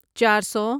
چار سو